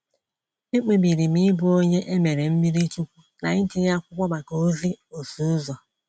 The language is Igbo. Ekpebiri m ịbụ onye e mere mmiri chukwu na itinye akwụkwọ maka ozi ọsụ ụzọ.